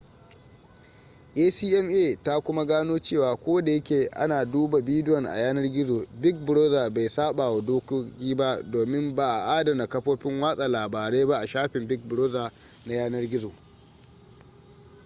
acma ta kuma gano cewa ko da yake ana duba bidiyon a yanar gizo big brother bai sabawa dokoki ba domin ba a adana kafofin watsa labarai ba a shafin big brother na yanar gizo